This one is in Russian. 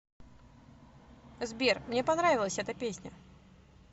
сбер мне понравилась эта песня